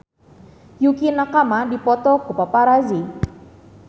Yukie Nakama dipoto ku paparazi